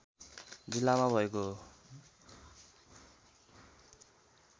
जिल्लामा भएको हो